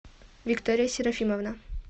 виктория серафимовна